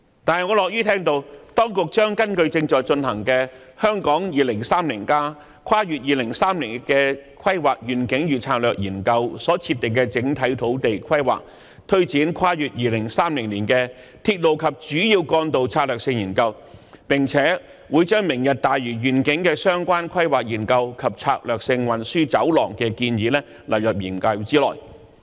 但是，我樂於聽到當局將根據正在進行的《香港 2030+： 跨越2030年的規劃遠景與策略》研究所設定的整體土地規劃，推展《跨越2030年的鐵路及主要幹道策略性研究》，並且會把"明日大嶼願景"的相關規劃研究及策略性運輸走廊的建議納入研究內。